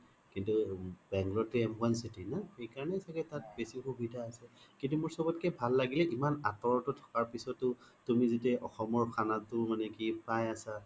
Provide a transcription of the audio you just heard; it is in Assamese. কিন্তু bangalore তো m one city না সেইকাৰনে চাগে তাত বেচি সুবিধা আছে কিন্তু মোৰ চ্ব্ত কে ভাল লাগে ইমান আতৰতো থকাৰ পিছ্তো তুমি যেতিয়া অসমৰ খানা তো মানে কি পাই আছা